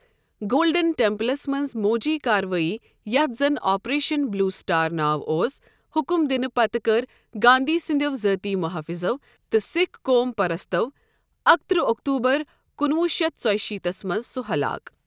Golden ٹیمپلس منٛز موجی کاروٲٮٔی یتھ زن آپریشن بلیو سٹار ناو اوس، حکم دِنہٕ پتہٕ کٔر گاندھی سنٛدٮ۪و ذٲتی محٲفِظو تہٕ سکھ قوم پرستو اکہٕ ترٕہ اکتوبر کُنہٕ وُہ شتھ ژۄیِہ شیٖتھس منٛز سۄ ہلاک۔